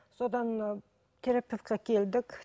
содан ыыы терапевтке келдік